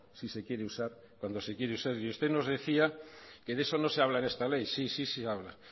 si se quiere usar cuando se quiere usar y usted nos decía que de eso no se habla en esta ley sí sí se habla